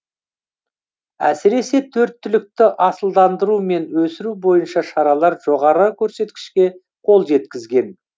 әсіресе төрт түлікті асылдандыру мен өсіру бойынша шаралар жоғары көрсеткішке қол жеткізген